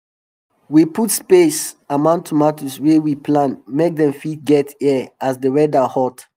we put space um among tomatos wey we um plant make dem fit get air as the weda hot